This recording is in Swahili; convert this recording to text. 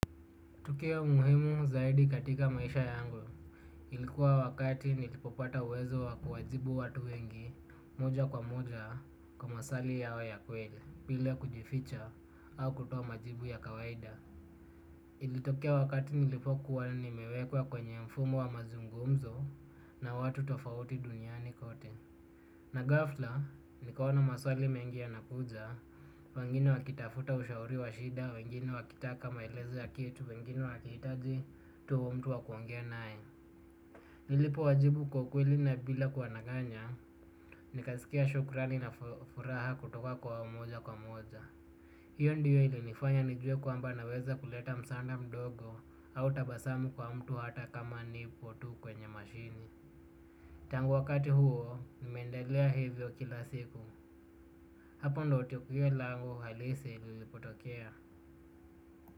Tukio muhimu zaidi katika maisha yangu. Ilikuwa wakati nilipopata uwezo wa kuwajibu watu wengi, moja kwa moja, kwa masali yao ya kweli, bila kujificha, au kutuo majibu ya kawaida. Ilitokea wakati nilipokuwa ni mewekwa kwenye mfumo wa mazungumzo na watu tofauti duniani kote. Na gafla, nikaona maswali mengi yana kuja, wengine wakitafuta ushauri wa shida, wengine wakitaka maelezo ya kitu, wengini wakihitaji, tu mtu wakuongea naye. Nilipo wajibu kwakweli na bila kuwanaganya, nikasikia shukrani na furaha kutoka kwa mmoja kwa moja. Hiyo ndiyo ili nifanya nijue kwamba naweza kuleta msaanda mdogo au tabasamu kwa mtu hata kama nipo tu kwenye mashini. Tangu wakati huo, nimeendelea hivyo kila siku. Hapo ndo tiok yule langu halisi lilipotokea.